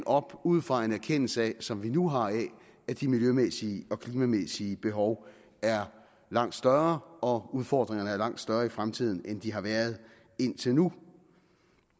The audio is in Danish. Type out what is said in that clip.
op ud fra en erkendelse som vi nu har af at de miljømæssige og klimamæssige behov er langt større og udfordringerne er langt større i fremtiden end de har været indtil nu